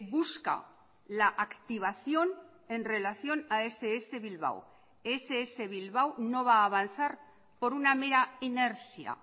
busca la activación en relación a ess bilbao ess bilbao no va a avanzar por una mera inercia